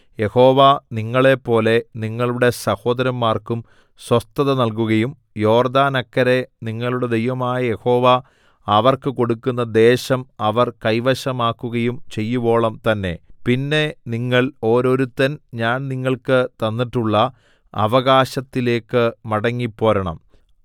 യഹോവ നിങ്ങളെപ്പോലെ നിങ്ങളുടെ സഹോദരന്മാർക്കും സ്വസ്ഥത നല്കുകയും യോർദ്ദാനക്കരെ നിങ്ങളുടെ ദൈവമായ യഹോവ അവർക്ക് കൊടുക്കുന്ന ദേശം അവർ കൈവശമാക്കുകയും ചെയ്യുവോളം തന്നെ പിന്നെ നിങ്ങൾ ഓരോരുത്തൻ ഞാൻ നിങ്ങൾക്ക് തന്നിട്ടുള്ള അവകാശത്തിലേക്ക് മടങ്ങിപ്പോരണം